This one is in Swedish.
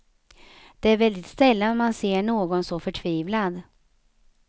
Det är väldigt sällan man ser någon så förtvivlad.